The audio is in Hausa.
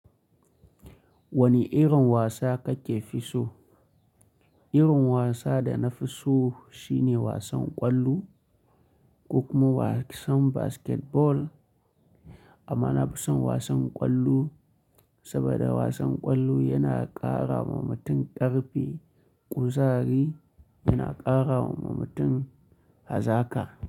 Wani irin wasa kake fi so? Irin wasa da na fi so shine wasan ƙwallo, ko kuma wasan basketball. Amma na fi son wasan ƙwallo, saboda wasan ƙwallo yana ƙara wa mutum ƙarfi, ƙuzari yana ƙara wa mutum hazaka.